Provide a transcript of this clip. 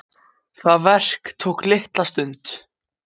Það verk tók litla stund.